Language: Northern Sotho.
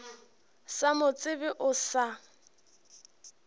sa mo tsebe o sa